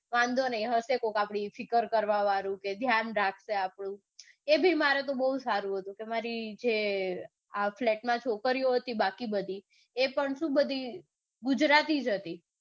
વાંધો નઈ હશે કોક આપણુંફિકર કરવાવાળું કે ધ્યાન રાખશે આપણું એ બી બૌ સારું હતું મારે જે flat માં છોકરીઓ હતી બાકી બધી જે એ બી ગુજરાતી જ હતી.